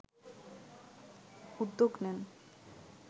উদ্যোগ নেয়